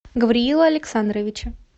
гавриила александровича